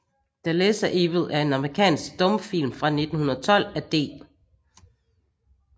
The Lesser Evil er en amerikansk stumfilm fra 1912 af D